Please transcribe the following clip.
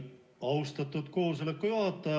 Austatud juhataja!